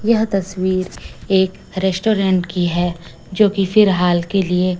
यह तस्वीर एक रेस्टोरेंट की है जो कि फील हाल के लिए--